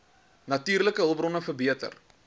natuurlike hulpbronne verbeter